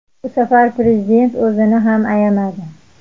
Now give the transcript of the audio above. Bu safar Prezident o‘zini ham ayamadi .